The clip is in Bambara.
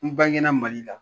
N bange na mali la